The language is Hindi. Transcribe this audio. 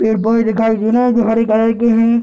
पेड़-पौधे दिखाई दे रहे हैं जो हरे कलर के हैं।